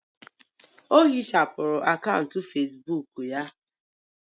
Ọ ehichapụrụ akaụntụ Facebook ya